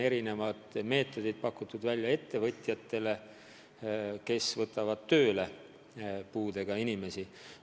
On ju soodustusi pakutud ka ettevõtjatele, kes võtavad tööle puudega inimesi.